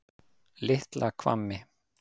Litla Hvammi